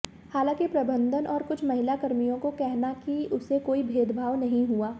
हालांकि प्रबंधन और कुछ महिला कर्मियों को कहना कि उसे कोई भेदभाव नहीं हुआ